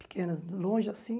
Pequenas, longe assim.